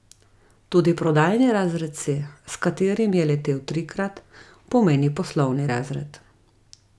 Tudi prodajni razred C, s katerim je letel trikrat, pomeni poslovni razred.